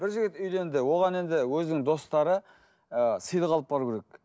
бір жігіт үйленді оған енді өзінің достары ыыы сыйлық алып баруы керек